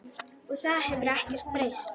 Og það hefur ekkert breyst.